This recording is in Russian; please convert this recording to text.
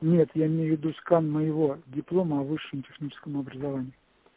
нет я имею в виду скан моего диплома о высшем техническом образовании